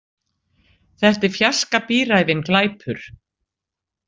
Þetta er fjarska bíræfinn glæpur.